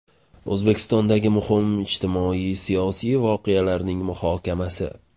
O‘zbekistondagi muhim ijtimoiy-siyosiy voqealarining muhokamasi.